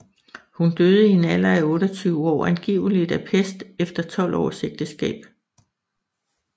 Hun døde i en alder af 28 år angiveligt af pest efter 12 års ægteskab